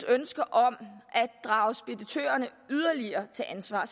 ønske om at drage speditørerne yderligere til ansvar